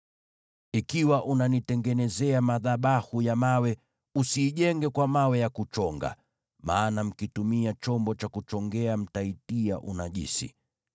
Ikiwa unanitengenezea madhabahu ya mawe, usiijenge kwa mawe ya kuchonga, maana mkitumia chombo cha kuchongea mtaitia unajisi.